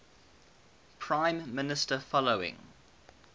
prime minister following